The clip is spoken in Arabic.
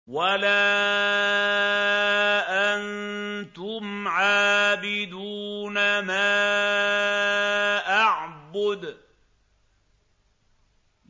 وَلَا أَنتُمْ عَابِدُونَ مَا أَعْبُدُ